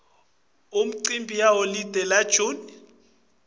imicimbi yeliholide la june